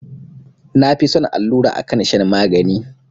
Na fi son allura akan shan magani